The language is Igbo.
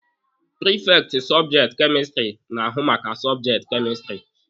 Prifekti sọbjekti kemistiri na-ahụ maka sọbjekti kemistiri.